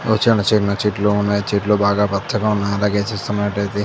ఓ చిన్న చిన్న చెట్లు ఉన్నాయి చెట్లు చాలా పచ్చగా ఉన్నాయి అలాగే చూస్తున్నట్లయితే--